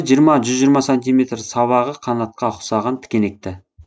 жиырма жүз жиырма сантиметр сабағы қанатқа ұқсаған тікенекті